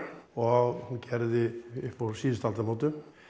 og hún gerði upp úr síðustu aldamótum